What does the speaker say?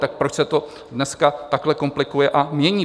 Tak proč se to dneska takhle komplikuje a mění?